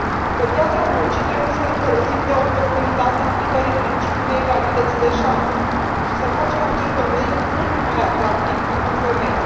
Pe piața muncii, trebuie să ne folosim de oportunitatea aplicării principiului egalității de șanse și să facem acest domeniu mult mai atractiv pentru femei.